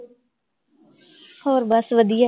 ਹੋਰ ਬਸ ਵਧੀਆ